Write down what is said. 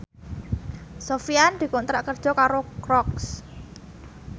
Sofyan dikontrak kerja karo Crocs